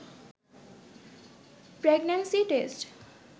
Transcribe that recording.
pregnancy test